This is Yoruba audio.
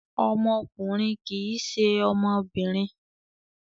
Ọmọkùnrin kì í ṣe ọmọbìnrin.